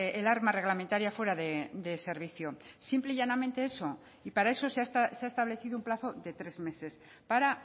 el arma reglamentaria fuera de servicio simple y llanamente eso y para eso se ha establecido un plazo de tres meses para